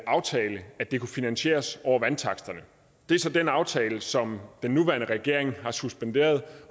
aftale at det kunne finansieres over vandtaksterne det er så den aftale som den nuværende regering har suspenderet